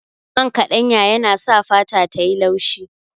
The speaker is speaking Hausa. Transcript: Man kaɗanya yana sa fata tayi laushi